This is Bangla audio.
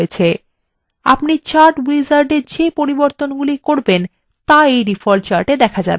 আপনার দ্বারা chart wizard এর মধ্যে করা পরিবর্তনগুলি ডিফল্ট chart আপডেট হয়